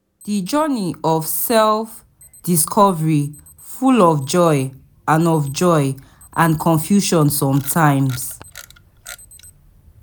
Di journey of self-discovery full of joy and of joy and confusion sometimes.